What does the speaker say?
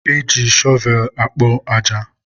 e ji shọvelụ ekpo aja.